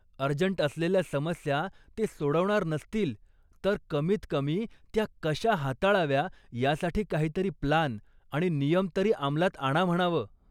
Urgent असलेल्या समस्या ते सोडवणार नसतील, तर कमीतकमी त्या कशा हाताळाव्या यासाठी काहीतरी प्लान आणि नियम तरी अमलात आणा म्हणावं.